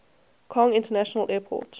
kong international airport